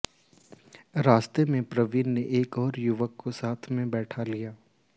रास्ते में प्रवीण ने एक ओर युवक को साथ में बैठा लिया